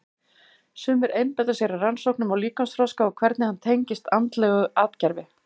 Sumir einbeita sér að rannsóknum á líkamsþroska og hvernig hann tengist andlegu atgervi.